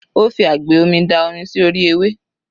Ó fi agbè omi da omi sí orí ewé.